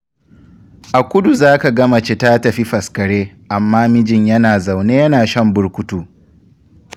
A kudu zaka ga mace ta tafi faskare, amma mijin yana zaune yana shan burkutu.